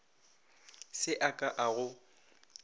se a ka a go